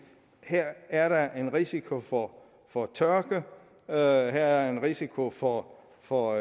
her er der en risiko for for tørke her er der en risiko for for